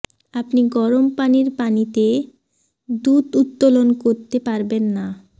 আপনি গরম পানির পানিতে দুধ উত্তোলন করতে পারবেন না